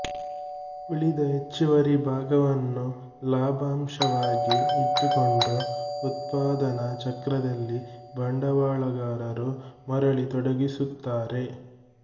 ಉಳಿದ ಹೆಚ್ಚುವರಿ ಭಾಗವನ್ನು ಲಾಭಾಂಶವಾಗಿ ಇಟ್ಟುಕೊಂಡು ಉತ್ಪಾದನಾ ಚಕ್ರದಲ್ಲಿ ಬಂಡವಾಳಗಾರರು ಮರಳಿ ತೊಡಗಿಸುತ್ತಾರೆ